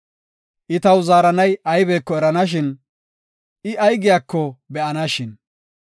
I taw zaaranay aybeko eranashin, I ay giyako be7anashin!